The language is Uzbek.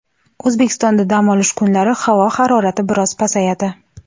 O‘zbekistonda dam olish kunlari havo harorati biroz pasayadi.